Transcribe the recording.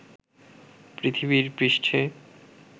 পৃথিবীর পৃষ্ঠে